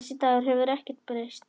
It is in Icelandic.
Þessi Dagur hefur ekkert breyst.